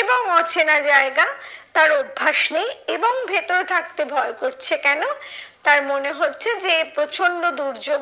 এবং অচেনা জায়গা তার অভ্যাস নেই এবং ভেতরে থাকতে ভয় করছে কেন? তার মনে হচ্ছে যে এ প্রচন্ড দুর্যোগ